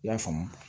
I y'a faamu